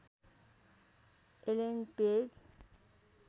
Alan page